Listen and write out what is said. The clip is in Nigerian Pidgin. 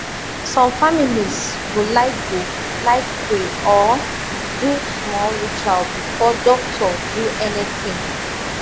some families go like go like pray or do small ritual before doctor do anything